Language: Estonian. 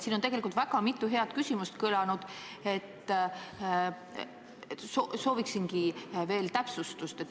Siin on tegelikult mitu head küsimust kõlanud, aga sooviksin veel täpsustust.